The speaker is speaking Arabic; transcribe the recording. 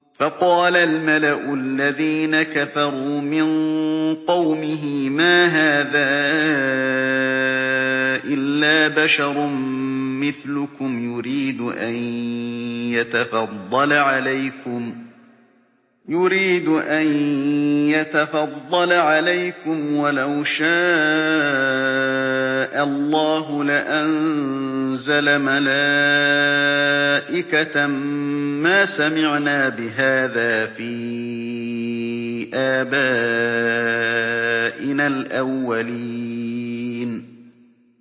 فَقَالَ الْمَلَأُ الَّذِينَ كَفَرُوا مِن قَوْمِهِ مَا هَٰذَا إِلَّا بَشَرٌ مِّثْلُكُمْ يُرِيدُ أَن يَتَفَضَّلَ عَلَيْكُمْ وَلَوْ شَاءَ اللَّهُ لَأَنزَلَ مَلَائِكَةً مَّا سَمِعْنَا بِهَٰذَا فِي آبَائِنَا الْأَوَّلِينَ